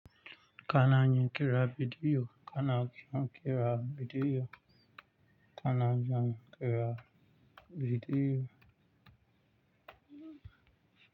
Kana yin ƙira bidiyo. Kana kin ƙira bidiyo. Kana zan ƙira bidiyo.